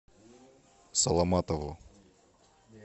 саламатову